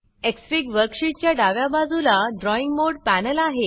Xfig worksheet च्या डाव्या बाजूला ड्रॉइंग मोड पॅनल आहे